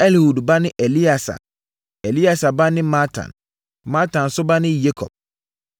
Elihud ba ne Eleasa; Eleasa ba ne Matan. Matan nso ba ne Yakob;